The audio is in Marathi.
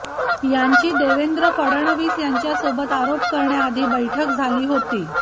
यांची देवेंद्र फडणवीस यांच्यासोबत आरोप करण्याआधी बैठक झाली होती